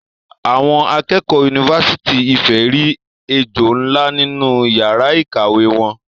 Awon akeekeo unifasiti Ifè ri ejo nla ninu iyara ikawe won